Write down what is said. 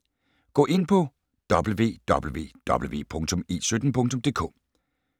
Gå ind på www.e17.dk